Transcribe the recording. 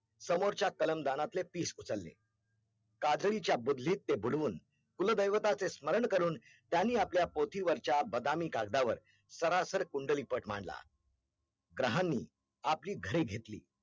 समोर च्या तलम दानातले पीस उचलले, काजळी च्या बुदलीत ते बुडवून कुलदेवताचे स्मरण करून त्यांनी आपल्या पोथीवरच्या बदामी कागदावर सरासर कुंडलीपठ मांडला ग्रहांनी आपली घरे घेतली